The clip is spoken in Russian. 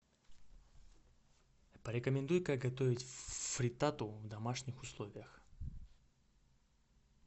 порекомендуй как готовить фриттату в домашних условиях